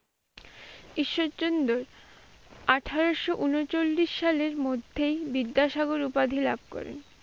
ঈশ্বরচন্দ্র আঠারশো উনচল্লিশ সালের মধ্যেই বিদ্যাসাগর উপাধি লাভ করেন।